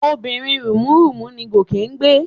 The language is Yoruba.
Obìnrin rùnmúrùnmú ni Gòkè ń gbé?